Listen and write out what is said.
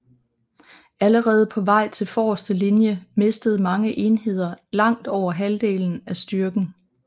Allerede på vej til forreste linje mistede mange enheder langt over halvdelen af styrken